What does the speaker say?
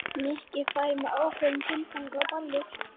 Nikki færi með ákveðnum tilgangi á ballið.